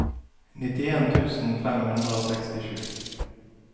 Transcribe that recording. nittien tusen fem hundre og sekstisju